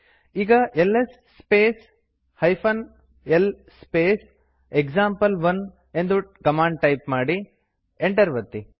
ಈಗ LS space l space example one ಎಂದು command type ಮಾಡಿ ಎಂಟರ್ ಒತ್ತಿ